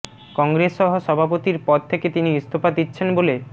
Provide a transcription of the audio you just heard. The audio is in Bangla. কংগ্রেস সহ সভাপতির পদ থেকে তিনি ইস্তফা দিচ্ছেন বলে